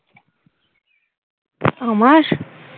আমার?